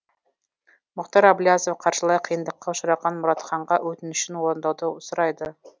мұхтар әблязов қаржылай қиындыққа ұшыраған мұратханға өтінішін орындауды сұрайды